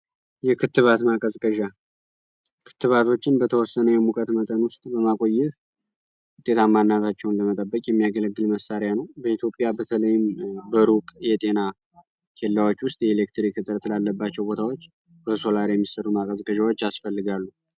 የክትባትና ክትባቶችን በተወሰነ የሙቀት መጠን ውስጥ የሚያገለግሉ መሳሪያ ነው በኢትዮጵያ በተለይም በሩቅ የጤናዎች ውስጥ የኤሌክትሪክ ላለባቸው ቦታዎች ያስፈልጋሉ